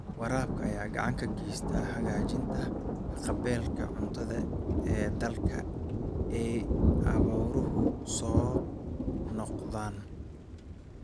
Waraabka ayaa gacan ka geysta hagaajinta haqab-beelka cuntada ee dalalka ay abaaruhu soo noqnoqdaan.